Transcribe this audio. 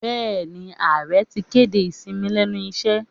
Bẹẹ̀ni, ààrẹ ti kéde ìsinmi lẹ́nu iṣẹ́